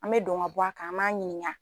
An be don ka bɔ a kan an b'a ɲininka